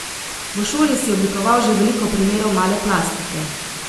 V šoli si oblikoval že veliko primerov male plastike.